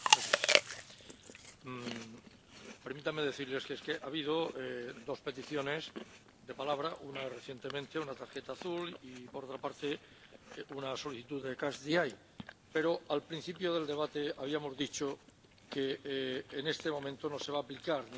Permítanme decirles que ha habido dos peticiones de palabra, una recientemente, una tarjeta azul, y, por otra parte, una solicitud de catch the eye, pero, al principio del debate, habíamos dicho que en este momento no se va a aplicar ni el procedimiento de solicitud